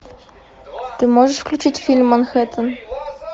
ты можешь включить фильм манхеттен